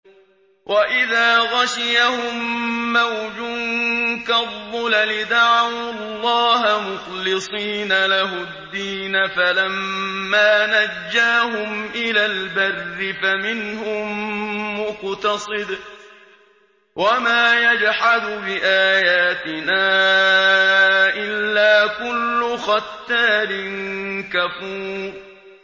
وَإِذَا غَشِيَهُم مَّوْجٌ كَالظُّلَلِ دَعَوُا اللَّهَ مُخْلِصِينَ لَهُ الدِّينَ فَلَمَّا نَجَّاهُمْ إِلَى الْبَرِّ فَمِنْهُم مُّقْتَصِدٌ ۚ وَمَا يَجْحَدُ بِآيَاتِنَا إِلَّا كُلُّ خَتَّارٍ كَفُورٍ